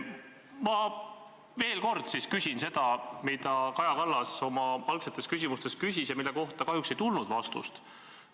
Ma veel kord siis küsin seda, mida Kaja Kallas oma küsimustes küsis ja mille kohta kahjuks ei tulnud vastust.